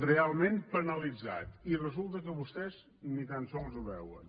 realment penalitzat i resulta que vostès ni tan sols ho veuen